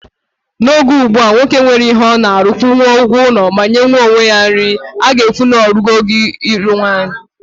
N'oge ugbua, nwoke nwere ihe ọ na-alụ, kwụnwuo ụgwọ ụlọ ma nyenwuo onwe ya nri, a ga-ekwu na o rugo oge ịlụ nwanyị.